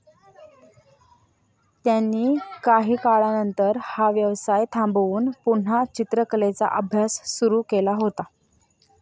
त्यांनी काही काळानंतर हा व्यवसाय थांबवून पुन्हा चित्रकलेचा अभ्यास सुरू केला होता